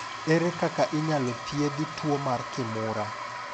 Ere kaka inyalo thiedhi tuo mar Kimura?